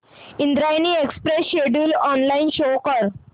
Indrayani express schedule online show कर